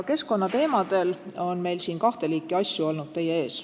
Keskkonnateemadel on meil siin teie ees kahte liiki asju olnud.